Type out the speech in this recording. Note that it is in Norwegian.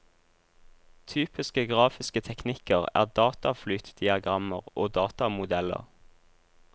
Typiske grafiske teknikker er dataflytdiagrammer og datamodeller.